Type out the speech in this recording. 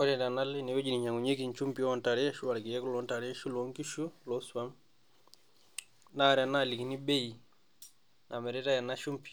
Ore tenalo ine wueji nainyang'unyeki inchumbii oo ntare anaa ilkeek loo ntare ashu loonkishu loo swam, naa ore tenaalikini bei namiritai ena shumbi,